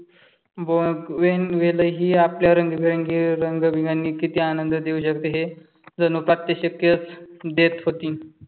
बघ वेन वेलही आपल्या रंगेबेरंगी रंगबिगणी किती आनंद देऊ शकते हे जणू प्रात्यक्षिकच देत होती.